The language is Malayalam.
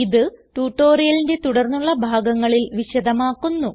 ഇത് ട്യൂട്ടോറിയലിന്റെ തുടർന്നുള്ള ഭാഗങ്ങളിൽ വിശദമാക്കുന്നു